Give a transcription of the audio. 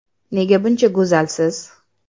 Nega buncha go‘zalsiz?